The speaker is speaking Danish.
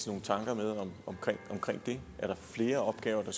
nogle tanker om det er der flere opgaver